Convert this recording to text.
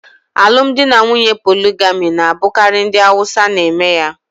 Alụmdi na nwunye poligami na-abụkarị ndị Awusa n'eme ya